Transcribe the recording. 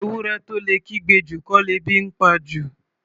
Ewúrẹ́ tó lè kígbe jù, kọ́ lebi ńpa jù.